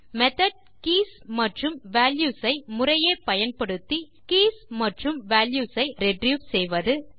methods keys மற்றும் values ஐ முறையே பயன்படுத்தி கீஸ் மற்றும் வால்யூஸ் ஐ ரிட்ரீவ் செய்வது